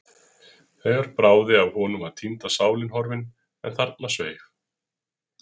Þegar bráði af honum var týnda sálin horfin, en þarna sveif